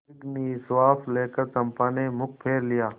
एक दीर्घ निश्वास लेकर चंपा ने मुँह फेर लिया